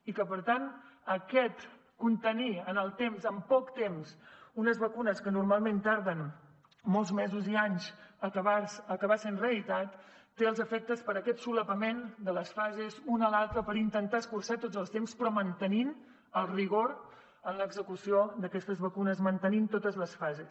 i que per tant aquest obtenir en el temps en poc temps unes vacunes que normalment tarden molts mesos i anys i que acabin sent realitat té els efectes per aquest solapament de les fases una a l’altra per intentar escurçar tots els temps però mantenint el rigor en l’execució d’aquestes vacunes mantenint totes les fases